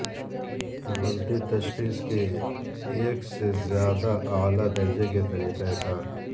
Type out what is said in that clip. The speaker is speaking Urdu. غلطی تشخیص کے ایک سے زیادہ اعلی درجے کے طریقہ کار